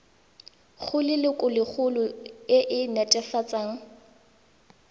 go lelokolegolo e e netefatsang